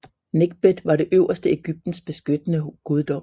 Nekhbet var det øvre Egyptens beskyttende guddom